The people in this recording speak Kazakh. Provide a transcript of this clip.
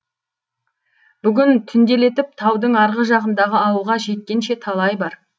бүгін түнделетіп таудың арғы жағындағы ауылға жеткенше талай бар